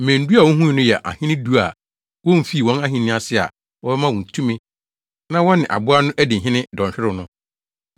“Mmɛn du a wuhui no yɛ ahene du a womfii wɔn ahenni ase a wɔbɛma wɔn tumi na wɔne aboa no adi hene dɔnhwerew no.